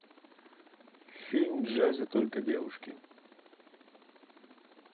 фильм в джазе только девушки